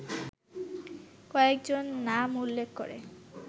কয়েকজন নাম উল্লেখ করে